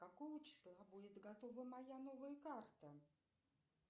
какого числа будет готова моя новая карта